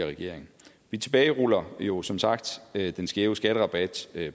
regering vi tilbageruller jo som sagt den skæve skatterabat